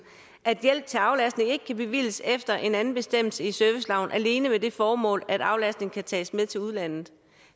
at hjælp til aflastning ikke kan bevilges efter en anden bestemmelse i serviceloven alene med det formål at aflastning kan tages med til udlandet